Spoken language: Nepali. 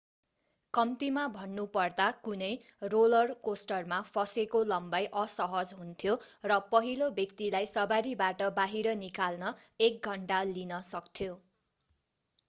कम्तिमा भन्नुपर्दा कुनै रोलर कोस्टरमा फसेको लम्बाई असहज हुन्थ्यो र पहिलो व्यक्तिलाई सवारीबाट बाहिर निकाल्न एक घन्टा लिन सक्थ्यो